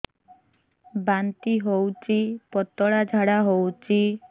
ବାନ୍ତି ହଉଚି ପତଳା ଝାଡା ହଉଚି